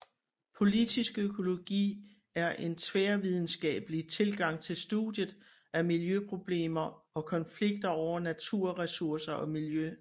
Politisk økologi er en tværvidenskabelig tilgang til studiet af miljøproblemer og konflikter over naturressourcer og miljø